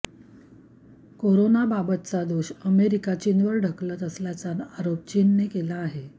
करोनाबाबतचा दोष अमेरिका चीनवर ढकलत असल्याचा आरोप चीनने केला आहे